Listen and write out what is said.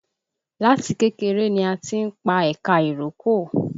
Láti kékeré ni a ti ń pa ẹ̀ka ìrókò